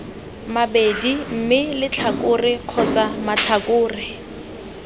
mabedi mme letlhakore kgotsa matlhakore